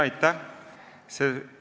Aitäh!